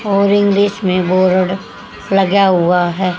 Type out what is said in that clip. और इंग्लिश मे बोरड लगा हुआ है।